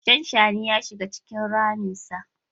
Shanshani ya shiga cikin raminsa.